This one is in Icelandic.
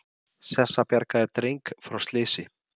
Sessa bjargaði dreng frá slysi